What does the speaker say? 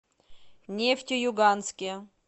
нефтеюганске